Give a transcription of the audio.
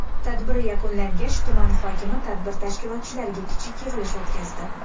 Tadbir yakunlangach tuman hokimi tadbir tashkilotchilariga kichik yig‘ilish o‘tkazdi.